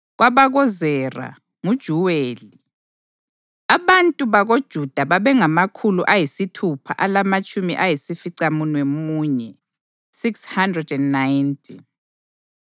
KwabakoZera: nguJuweli. Abantu bakoJuda babengamakhulu ayisithupha alamatshumi ayisificamunwemunye (690).